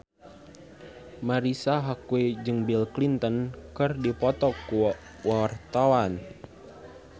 Marisa Haque jeung Bill Clinton keur dipoto ku wartawan